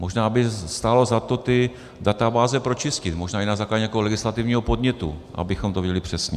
Možná by stálo za to ty databáze pročistit, možná i na základě nějakého legislativního podnětu, abychom to věděli přesně.